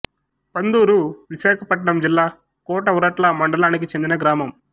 పందూరు విశాఖపట్నం జిల్లా కోట ఉరట్ల మండలానికి చెందిన గ్రామం